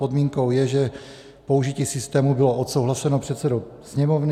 Podmínkou je, že použití systému bylo odsouhlaseno předsedou Sněmovny.